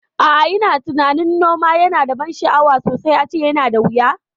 A'a, ina tunanin noma yana da ban sha'awa sosai ace yana da wuya